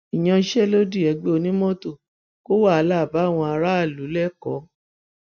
ìyanṣẹlódì ẹgbẹ onímọtò kó wàhálà báwọn aráàlú lẹkọọ